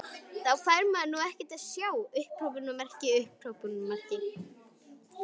Þá fær maður nú ekkert að sjá!!